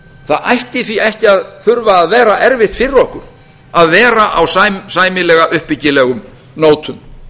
það ætti því ekki að þurfa að vera erfitt fyrir okkur að vera á sæmilega uppbyggilegum nótum